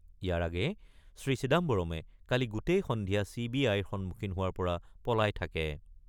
ইয়াৰ আগেয়ে শ্ৰী চিদাম্বৰমে কালি গোটেই সন্ধিয়া চি বি আইৰ সন্মুখীন হোৱাৰ পৰা পলাই থাকে।